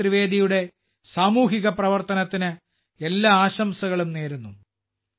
ജഗദീഷ് ത്രിവേദിയുടെ സാമൂഹിക പ്രവർത്തനത്തിന് എല്ലാ ആശംസകളും നേരുന്നു